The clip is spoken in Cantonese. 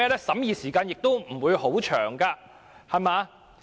審議時間亦不會很長。